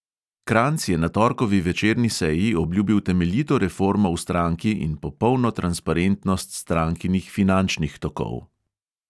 Kranjc je na torkovi večerni seji obljubil temeljito reformo v stranki in popolno transparentnost strankinih finančnih tokov.